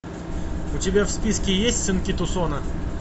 у тебя в списке есть сынки тусона